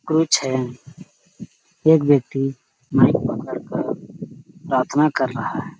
कुछ है एक व्यक्ति माईक पकड़कर प्रार्थना कर रहा हैं ।